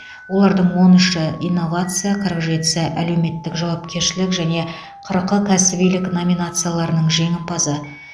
олардың он үші инновация қырық жетісі әлеуметтік жауапкершілік және қырқы кәсібилік номинацияларының жеңімпазы